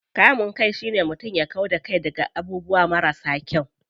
Kamun kai shine mutum ya kau da kai daga abubuwa marasa kyau.